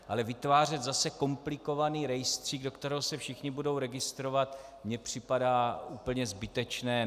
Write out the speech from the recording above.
Ale vytvářet zase komplikovaný rejstřík, do kterého se všichni budou registrovat, mi připadá úplně zbytečné.